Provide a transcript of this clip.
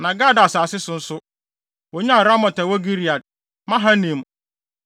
Na Gad asase so nso, wonyaa Ramot a ɛwɔ Gilead, Mahanaim,